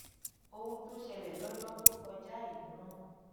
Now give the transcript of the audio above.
ohun tó ṣẹlẹ lójọ tó kọjá yìí rán